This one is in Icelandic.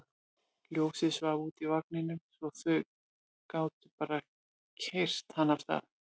Ljósið svaf úti í vagninum svo þau gátu bara keyrt hann af stað.